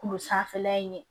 Kulo sanfɛla in ye